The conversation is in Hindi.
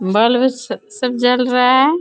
बल्ब स सब जल रहा है।